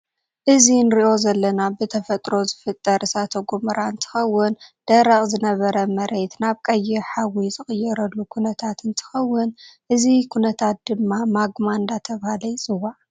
እዚ እንሪኦ ዘለና ብተፈጥሮ ዝፍጠር እሳተ ጎመራ እንትከውን ደረቅ ዝነበረ መሬት ናብ ቀይሕ ሓዊ ዝቅየረሉ ኩነታት እንትከውን እዚ ኩነታት ድማ ማግማ እንዳተባሀለይ ይፅዋዕ።